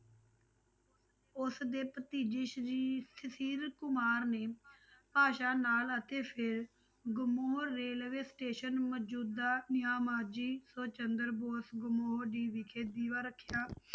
ਉਸਦੇ ਭਤੀਜੇ ਸ੍ਰੀ ਤਸੀਦ ਕੁਮਾਰ ਨੇ ਭਾਸ਼ਾ ਨਾਲ ਅਤੇ ਫਿਰ ਗੁਮੋਹਰ railway station ਮੌਜੂਦਾ ਸੋ ਚੰਦਰ ਬੋਸ ਗੁਮੋਹਰ ਜੀ ਵਿਖੇ ਦੀਵਾ ਰੱਖਿਆ